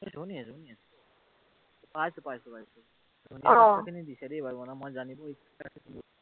শুনি আছো, শুনি আছো। পাইছো, পাইছো, পাইছো। এই কথা খিনি বিচাৰিয়েই পোৱা নাই মোৰ জানিব ইচ্ছা আছিল।